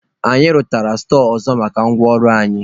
Anyị rụtara stọọ ọzọ maka ngwa ọrụ anyị.